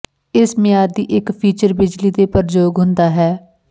ਇਸ ਮਿਆਦ ਦੀ ਇੱਕ ਫੀਚਰ ਬਿਜਲੀ ਦੇ ਪ੍ਰਯੋਗ ਹੁੰਦਾ ਹੈ